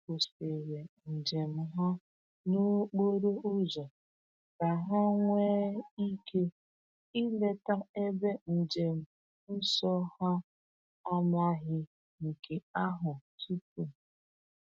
Ha kwụsịrị njem ha n’okporo ụzọ ka ha nwee ike ileta ebe njem nsọ ha amaghị nke ahụ tupu.